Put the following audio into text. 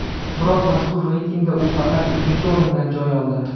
Biroq mazkur reytingda u faqat uchinchi o‘rindan joy oldi.